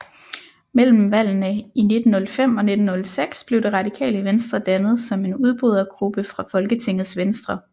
Mellem valgene i 1905 og 1906 blev Det Radikale Venstre dannet som en udbrydergruppe fra Folketingets Venstre